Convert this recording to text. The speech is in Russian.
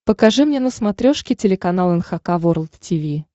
покажи мне на смотрешке телеканал эн эйч кей волд ти ви